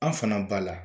An fana b'a la